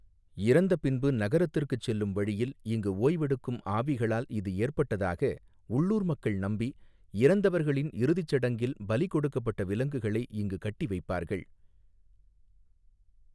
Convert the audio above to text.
இறந்த பின்பு நரகத்திற்குச் செல்லும் வழியில் இங்கு ஓய்வெடுக்கும் ஆவிகளால் இது ஏற்பட்டதாக உள்ளூர் மக்கள் நம்பி, இறந்தவர்களின் இறுதிச் சடங்கில் பலி கொடுக்கப்பட்ட விலங்குகளை இங்கு கட்டி வைப்பார்கள்.